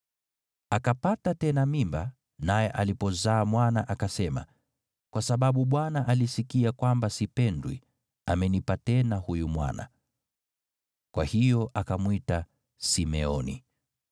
Akapata tena mimba, naye alipozaa mwana, akasema, “Kwa sababu Bwana alisikia kwamba sipendwi, amenipa tena huyu mwana.” Kwa hiyo akamwita Simeoni.